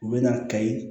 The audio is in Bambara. U bɛ na kayi